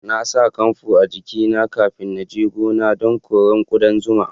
Na sa kanfu a jiki na kafin na je gona dan kore kudan zuma.